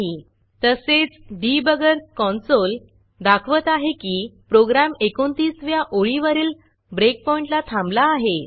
तसेच डिबगर Consoleडिबगर कॉन्सोल दाखवत आहे की प्रोग्रॅम 29 व्या ओळीवरील ब्रेकपॉईंटला थांबला आहे